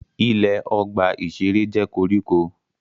Ilẹ̀ ọgbà-ìṣeré jẹ́ koríko